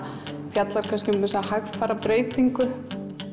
fjallar um þessa hægfara breytingu